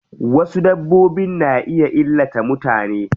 Wasu dabbbobin na iya illata mutane.